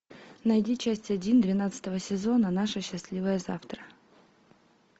найди часть один двенадцатого сезона наше счастливое завтра